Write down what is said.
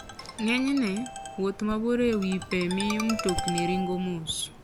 Ng'enyne, wuoth mabor e wi pe miyo mtokni ringo mos.